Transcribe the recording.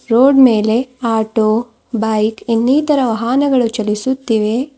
Road ಮೇಲೆ auto bike ಇನ್ನಿತರ ವಾಹನಗಳು ಚಲಿಸುತ್ತಿವೆ.